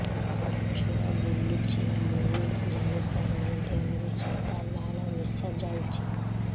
ଛୁଆ ବୁଲୁଚି ମୁଇ ଜାଣିପାରୁନି ଦେହରୁ ସାଧା ଲାଳ ମିଶା ଯାଉଚି